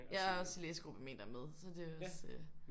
Jeg er også i læsegruppe med en der er med så der er også